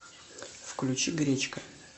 включи гречка